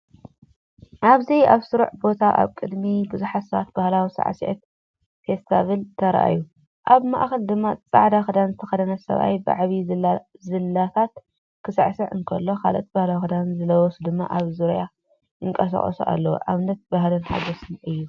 ኣብዚ ኣብ ስሩዕ ቦታ ኣብ ቅድሚ ብዙሓት ሰባት ባህላዊ ሳዕስዒት ፈስቲቫል ተራእዩ። ኣብ ማእከል ድማ ጻዕዳ ክዳን ዝተኸድነ ሰብኣይ ብዓቢ ዝላታት ክስዕስዕ እንከሎ፡ ካልኦት ባህላዊ ክዳን ዝለበሱ ድማ ኣብ ዙርያኡ ይንቀሳቐሱ ኣለዉ። ኣብነት ባህልን ሓጎስን'ዩ።